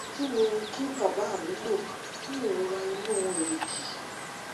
kí ni kí bàbá mi lò fún ìrora inú èrìgì